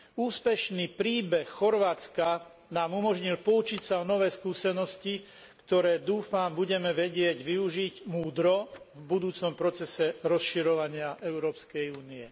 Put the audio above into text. Úspešný príbeh Chorvátska nám umožnil poučiť sa o nové skúsenosti, ktoré, dúfam, budeme vedieť využiť múdro v budúcom procese rozširovania Európskej únie.